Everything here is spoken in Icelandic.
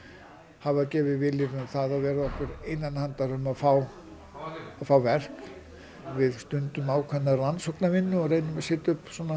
hafa gefið vilyrði um að vera okkur innan handar um að fá fá verk við stundum ákveðna rannsóknarvinnu og reynum að setja upp svona